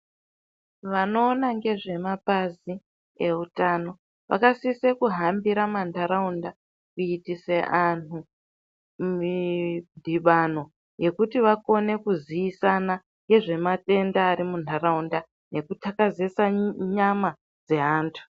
Vanoona ngezvemapazi eutano vakasise kuhambira mantaraunda kuitise anhu midhibano ekuti vakone kuziisana ngezvamatenda ari muntaraunda nekuxakazesa nyama dzaantu.